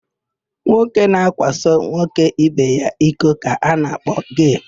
Nwoke na-akwaso nwoke ibe ya iko ka a na-akpọ gee.